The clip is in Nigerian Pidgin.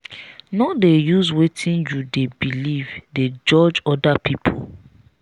no dey use wetin you dey beliv dey judge other pipu.